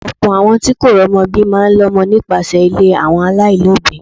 Ọ̀pọ̀ àwọn tí kò romo bí máa ń lọmọ nípasẹ̀ ilé àwọn alailobi.